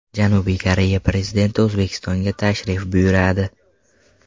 Janubiy Koreya prezidenti O‘zbekistonga tashrif buyuradi.